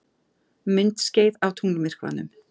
Myndskeið af tunglmyrkvanum